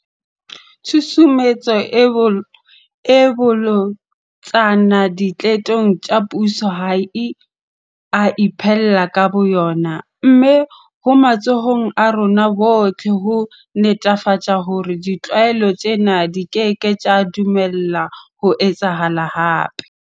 Tshusumetso e bolotsana diqetong tsa puso ha e a iphella ka bo yona. Mme ho matsohong a rona bohle ho netefatsa hore ditlwaelo tsena di keke tsa dumellwa ho etsahala hape.